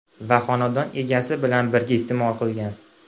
va xonadon egasi bilan birga iste’mol qilgan.